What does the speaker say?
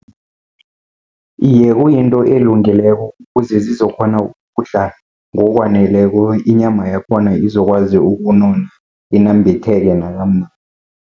Iye, kuyinto elungileko kuze zizokukghona ukudla ngokwaneleko, inyama yakhona izokwazi ukunona inambitheke